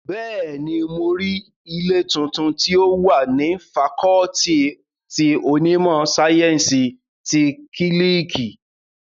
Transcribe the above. Bẹ́ẹ̀ni, mo rí ilé tuntun tí ó wà ní fakọọti ti onímọ̀ sáyẹ́ǹsì ti kílíìkì